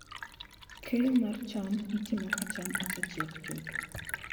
Keyo mar cham itimo ka cham osechiek chuth.